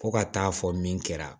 Fo ka taa fɔ min kɛra